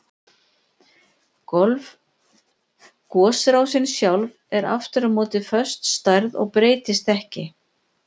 Gosrásin sjálf er aftur á móti föst stærð og breytist ekki.